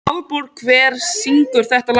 Aðalborg, hver syngur þetta lag?